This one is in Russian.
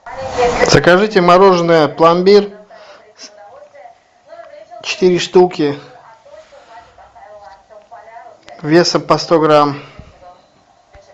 закажите мороженое пломбир четыре штуки весом по сто грамм